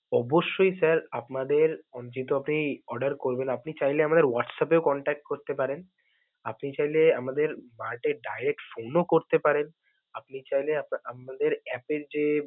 অবশ্যই sir আপনাদের আপনি order করবেন, আপনি চাইলেই আমাদের WhatsApp এও contact করতে পারেন, আপনি চাইলে আমাদের mart এ direct phone ও করতে পারেন. আপনি চাইলে আপনা~ আমাদের app এর যে.